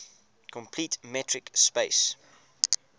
complete metric space